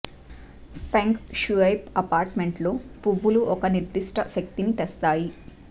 ఫెంగ్ షుయ్పై అపార్ట్మెంట్లో పువ్వులు ఒక నిర్దిష్ట శక్తిని తెస్తాయి